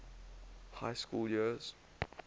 high school years